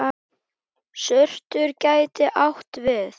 Surtur gæti átt við